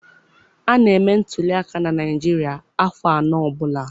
A na-eme ntuliaka na Naịjirịa afọ anọ ọbụla.